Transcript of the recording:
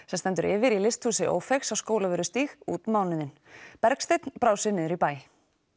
sem stendur yfir í Ófeigs á Skólavörðustíg út mánuðinn Bergsteinn brá sér niður í bæ